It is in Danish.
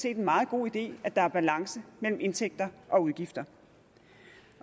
en meget god idé at der er balance mellem indtægter og udgifter